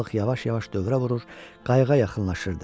Balıq yavaş-yavaş dövrə vurur, qayığa yaxınlaşırdı.